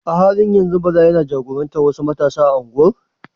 A halin yanzu Bala yana jagorantar wasu matasa a unguwar?